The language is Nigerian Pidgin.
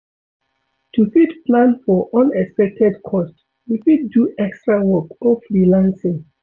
To fit plan for unexpected cost, we fit do extra work or freelancing